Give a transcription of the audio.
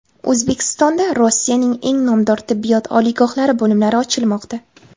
O‘zbekistonda Rossiyaning eng nomdor tibbiyot oliygohlari bo‘limlari ochilmoqda.